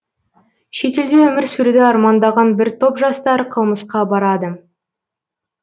шетелде өмір сүруді армандаған бір топ жастар қылмысқа барады